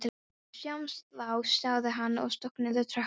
Við sjáumst þá sagði hann og stökk niður tröppurnar.